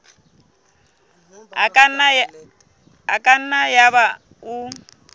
e ka nna yaba o